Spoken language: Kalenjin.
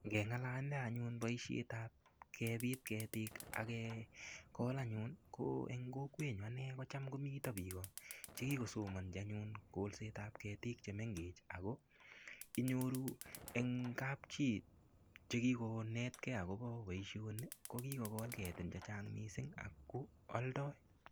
Ngeng'alale anyun boishetab kebiit ketik akekol anyun ko eng' kokwenyu ane ko cham komito biko chekikosomonji anyun kolsetab ketik chemengech ako inyoru eng' kapchoit chekikonetkei akobo boishoni ko kikekol ketin chechang' mising' ako oldoi